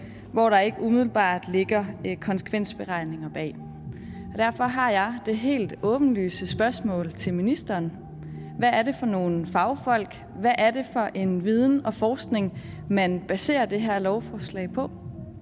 hvor der ikke umiddelbart ligger konsekvensberegninger bag derfor har jeg et helt åbenlyst spørgsmål til ministeren hvad er det for nogle fagfolk hvad er det for en viden og forskning man baserer det her lovforslag på